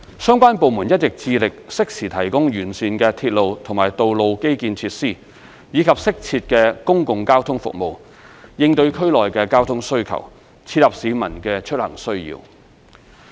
相關部門一直致力適時提供完善的鐵路和道路基建設施，以及適切的公共交通服務，應對區內的交通需求，切合市民的出行需要。